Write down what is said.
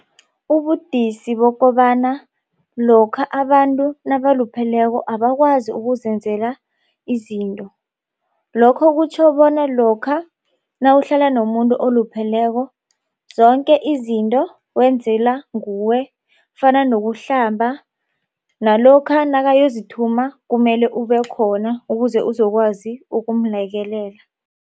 Ubudisi bokobana lokha abantu nabalupheleko abakwazi ukuzenzela izinto. Lokho kutjho bona lokha nawuhlala nomuntu olupheleko zonke izinto wenzela nguwe. Fana nokuhlamba nalokha nakayozithuma kumele ubekhona ukuze uzokwazi ukumlekelela.